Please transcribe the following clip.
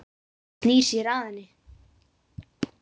Hann snýr sér að henni.